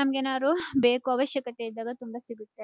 ನಮಗೆ ಏನಾದ್ರು ಬೇಕು ಅವಶ್ಯಕತೆ ಇದ್ದಾಗ ತುಂಬಾ ಸಿಗುತ್ತೆ.